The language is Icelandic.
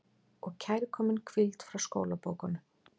Og kærkomin hvíld frá skólabókunum.